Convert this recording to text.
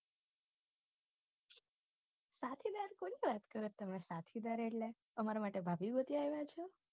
સાથીદાર કોની વાત કરો છો તમે સાથીદાર એટલે તમાર માટે ભાભી ગોતી આયવા છો